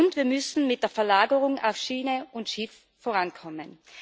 Und wir müssen mit der Verlagerung auf Schiene und Schiff vorankommen.